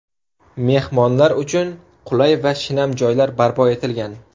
Mehmonlar uchun qulay va shinam joylar barpo etilgan.